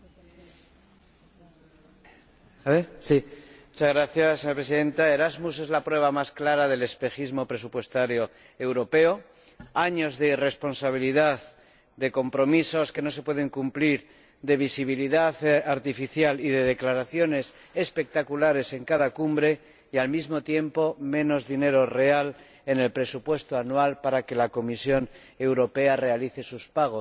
Señora Presidenta, Erasmus es la prueba más clara del espejismo presupuestario europeo. Años de irresponsabilidad, de compromisos que no se pueden cumplir, de visibilidad artificial y de declaraciones espectaculares en cada cumbre y, al mismo tiempo, menos dinero real en el presupuesto anual para que la Comisión Europea realice sus pagos —el Comisario Lewandowski lo ha explicado perfectamente.